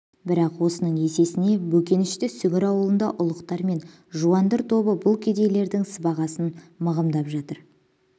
бірақ осының есесіне бөкенші сүгір аулында ұлықтар мен жуандыр тобы бұл кедейлердің сыбағасын мығымдап жатыр